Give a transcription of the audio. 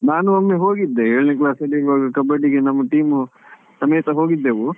ನಾನು ಒಮ್ಮೆ ಹೋಗಿದ್ದೆ, ಏಳನೇ class ಅಲ್ಲಿ ಇರ್ವಗ ಹೋಗಿದ್ದೆ, ನಮ್ಮ team ಸಮೇತ ಹೋಗಿದ್ದೆವು.